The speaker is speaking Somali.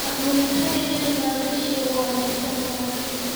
Abuuritaanka jawi maalgashi oo wanaagsan waa muhiim.